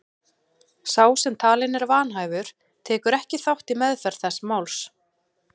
Sá sem talinn er vanhæfur tekur ekki þátt í meðferð þess máls.